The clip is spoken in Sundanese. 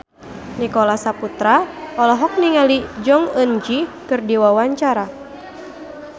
Nicholas Saputra olohok ningali Jong Eun Ji keur diwawancara